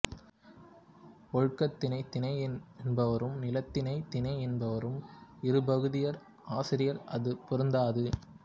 ஒழுக்கத்திணைத் திணை என்பாரும் நிலத்திணை திணை என்பாரும் இருபகுதியர் ஆசிரியர் அது பொருந்தாது